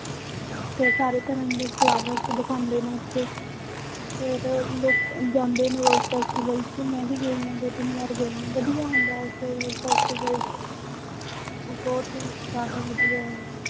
ਤੇ ਸਾਰੇ ਤਰ੍ਹਾਂ ਦੇ flowers ਦਿਖਾਉਂਦੇ ਨੇ ਉੱਥੇ ਫਿਰ ਲੋਕ ਜਾਂਦੇ ਨੇ rose festival ਚ ਮੈਂ ਵੀ ਗਈ ਹਾਂ ਦੋ ਤਿੰਨ ਵਾਰ ਗਈ ਹਾਂ, ਵਧੀਆ ਹੁੰਦਾ ਹੈ ਉੱਥੇ rose festival ਚ ਉਹ ਬਹੁਤ ਜ਼ਿਆਦਾ ਵਧੀਆ ਹੈ